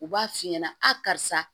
U b'a f'i ɲɛnɛ a karisa